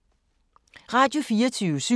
Radio24syv